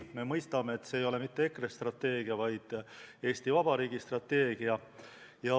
Me mõistame, et see ei ole mitte EKRE strateegia, vaid Eesti Vabariigi strateegia.